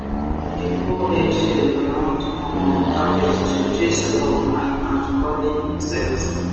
we dey pour egg shell around um cabbage to chase slug and and crawling insect